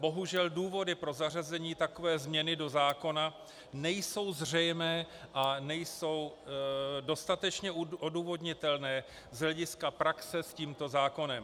Bohužel důvody pro zařazení takové změny do zákona nejsou zřejmé a nejsou dostatečně odůvodnitelné z hlediska praxe s tímto zákonem.